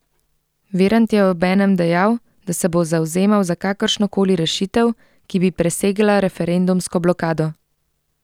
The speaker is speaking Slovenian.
Virant je obenem dejal, da se bo zavzemal za kakršno koli rešitev, ki bi presegla referendumsko blokado.